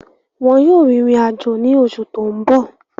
Wọn yóò rìnrìn àjò ní oṣù tó ń bọ̀